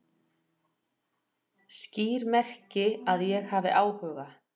Skýr merki að ég hafi áhuga